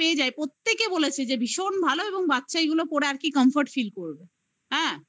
প্রত্যেকে বলেছে যে ভীষণ ভালো এবং বাচ্চা এগুলো পড়ে আর কি comfort feel করবে।